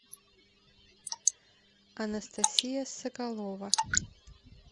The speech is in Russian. анастасия соколова